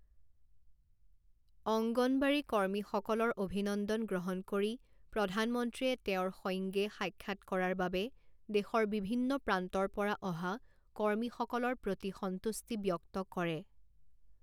অংগনৱাড়ী কৰ্মীসকলৰ অভিনন্দন গ্ৰহণ কৰি প্ৰধানমন্ত্ৰীয়ে তেওঁৰ সৈঙ্গে সাক্ষাৎ কৰাৰ বাবে দেশৰ বিভিন্ন প্ৰান্তৰ পৰা অহা কৰ্মীসকলৰ প্ৰতি সন্তুষ্টি ব্যক্ত কৰে।